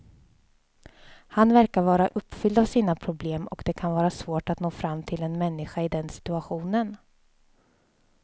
Han verkar vara uppfylld av sina problem och det kan vara svårt att nå fram till en människa i den situationen.